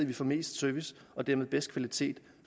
vi får mest service og dermed bedst kvalitet